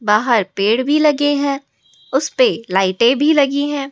बाहर पेड़ भी लगे हैं उसपे लाइटें भी लगी है।